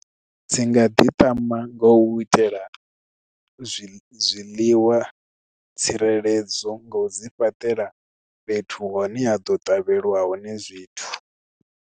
Dzi nga ḓiṱama nga u itela zwiḽiwa tsireledzo nga u dzi fhaṱela fhethu hune ha ḓo ṱavheliwa hone zwithu.